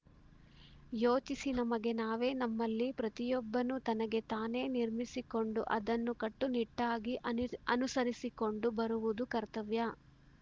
ಯೋಚಿಸಿ ನಮಗೆ ನಾವೇ ನಮ್ಮಲ್ಲಿ ಪ್ರತಿಯೊಬ್ಬನೂ ತನಗೆ ತಾನೇ ನಿರ್ಮಿಸಿಕೊಂಡು ಅದನ್ನು ಕಟ್ಟುನಿಟ್ಟಾಗಿ ಅನು ಅನುಸರಿಸಿಕೊಂಡು ಬರುವುದು ಕರ್ತವ್ಯ